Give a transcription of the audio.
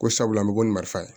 Ko sabula an bɛ bɔ ni marifa ye